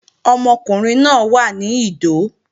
Ọmọkùnrin náà wà ní Ìdó